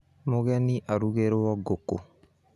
Mũgeni arugĩrwo ngũkũ